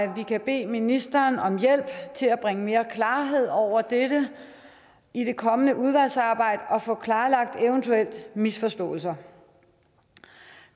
at vi kan bede ministeren om hjælp til at bringe mere klarhed over dette i det kommende udvalgsarbejde og få klarlagt eventuelle misforståelser